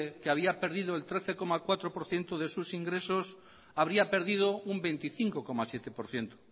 que había perdido el trece coma cuatro por ciento de sus ingresos habría perdido un veinticinco coma siete por ciento